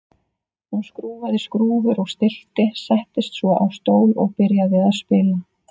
Hún skrúfaði skrúfur og stillti, settist svo á stól og byrjaði að spila.